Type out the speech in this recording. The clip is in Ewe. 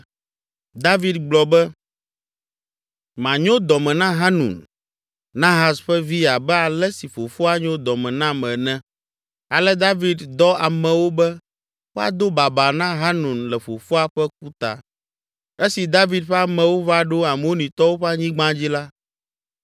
David gblɔ be, “Manyo dɔ me na Hanun, Nahas ƒe vi abe ale si fofoa nyo dɔ me nam ene.” Ale David dɔ amewo be woado babaa na Hanun le fofoa ƒe ku ta. Esi David ƒe amewo va ɖo Amonitɔwo ƒe anyigba dzi la,